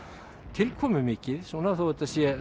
tilkomumikið þó þetta séu